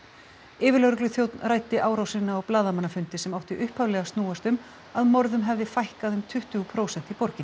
yfirlögregluþjónn ræddi árásina á blaðamannafundi sem átti upphaflega að snúast um að morðum hefði fækkað um tuttugu prósent í borginni